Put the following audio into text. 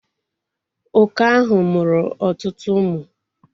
Oke ahụ mụrụ ọtụtụ ụmụ